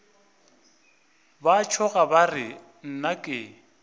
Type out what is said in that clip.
ba tšhoga ba re nnake